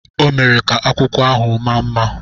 ọ mere ka akwụkwọ ahụ maa mma